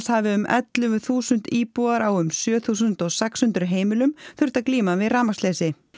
hafi um ellefu þúsund íbúar á um sjö þúsund sex hundruð heimilum þurft að glíma við rafmagnsleysi